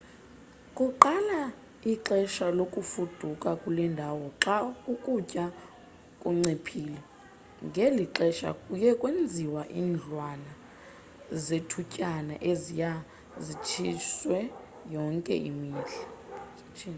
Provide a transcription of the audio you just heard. kuqala ixesha lokufuduka kule ndawo xa ukutya kunciphile ngeli xesha kuye kwenziwe iindlwana zethutyana eziye zitshintshwe yonke imihla